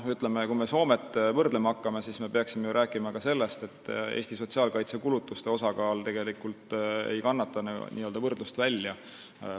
Kui me Soomega võrdlema hakkame, siis me peaksime rääkima ka sellest, et Eesti sotsiaalkaitsekulutuste osakaal Soomega võrreldes tegelikult ei kannata võrdlust välja.